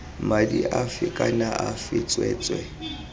madi afe kana afe tsweetswee